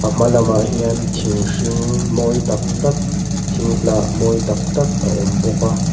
a hma lamah hian thing hring mawi tak tak thing hnah mawi tak tak a awm bawk a.